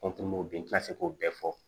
n ti se k'o bɛɛ fɔ